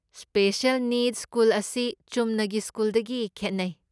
Special ꯅꯤꯗꯁ school ꯑꯁꯤ ꯆꯨꯝꯅꯒꯤ ꯁ꯭ꯀꯨꯜꯗꯒꯤ ꯈꯦꯠꯅꯩ꯫